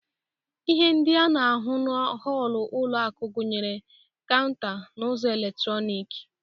Ihe ndị a na-ahụ na họlụ ụlo akụ gunyere kaụnta na ụzọ eletroniki.